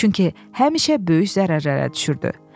Çünki həmişə böyük zərərlərə düşürdü.